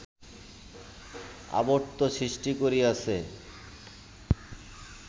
আবর্ত সৃষ্টি করিয়াছে